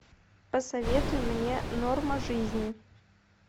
посоветуй мне норма жизни